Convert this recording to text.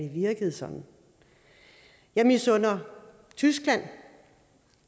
at virke sådan jeg misunder tyskland